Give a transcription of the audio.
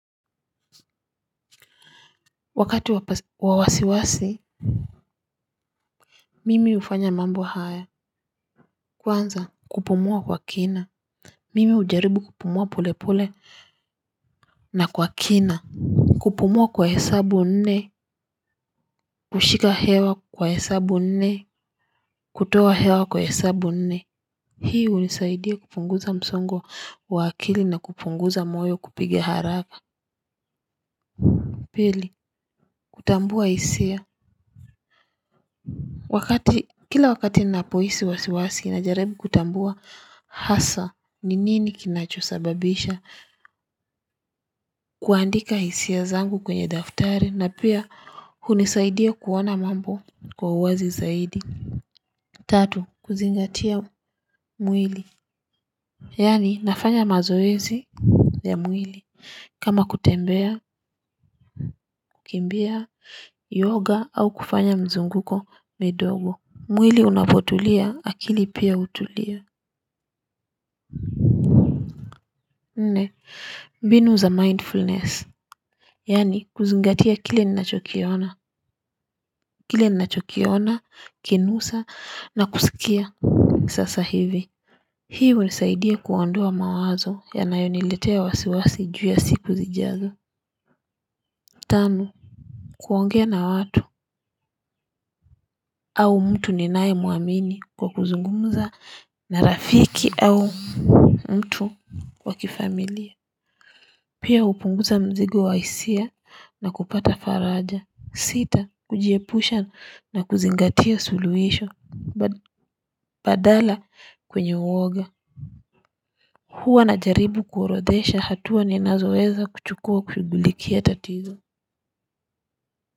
Wakati wa wasi wasi mimi hufanya mambo haya kwanza kupumua kwa kina mimi hujaribu kupumua pole pole na kwa kina kupumua kwa hesabu nne kushika hewa kwa hesabu nne kutoa hewa kwa hesabu nne hii hunisaidia kupunguza msongo wa akili na kupunguza moyo kupiga haraka pili kutambua hisia. Wakati kila wakati napohisi wasi wasi na jaribu kutambua hasa ni nini kinachosababisha kuandika hisia zangu kwenye daftari na pia hunisaidia kuona mambo kwa uwazi zaidi. Tatu kuzingatia mwili. Yani nafanya mazoezi ya mwili kama kutembea, kukimbia, yoga au kufanya mzunguko midogo. Mwili unapotulia, akili pia utulia. Nne, mbinu za mindfulness, yani kuzungatia kile ni nachokiona, kile ni nachokiona, kunusa, na kusikia sasa hivi. Hii hunisaidia kuondoa mawazo yanayoniletea wasi wasi juu ya siku zijazo. Tanu, kuongea na watu au mtu ninayemuamini kwa kuzungumuza na rafiki au mtu wa kifamilia. Pia hupunguza mzigo wa hisia na kupata faraja. Sita kujiepusha na kuzingatia suluisho badala kwenye uoga. Huwa na jaribu kuorodhesha hatua ni nazoweza kuchukua kushughulikia tatizo.